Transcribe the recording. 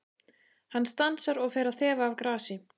Hann stansar og fer að þefa af grasi.